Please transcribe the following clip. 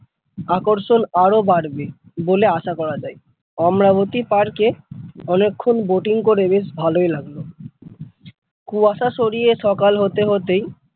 আকর্ষণ আরো বাড়বে বলে আশা করা যায় অমরাবতী পার্কে অনেক্ষণ boating করে বেশ ভালই লাগলো কুয়াশা সরিয়ে সকাল হতে হতেই ।